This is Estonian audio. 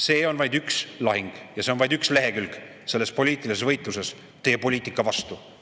See on vaid üks lahing ja see on vaid üks lehekülg selles poliitilises võitluses teie poliitika vastu.